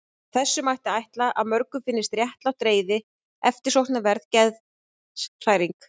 Af þessu mætti ætla að mörgum finnist réttlát reiði eftirsóknarverð geðshræring.